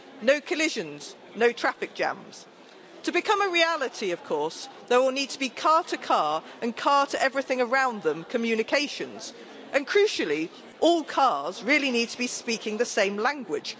No collisions, no traffic jams. To become a reality, of course, there will need to be car to car and car to everything around them communications and crucially, all cars really need to be speaking the same language.